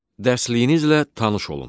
Dərsliyinizlə tanış olun.